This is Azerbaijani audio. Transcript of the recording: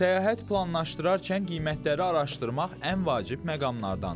Səyahət planlaşdırarkən qiymətləri araşdırmaq ən vacib məqamlardandır.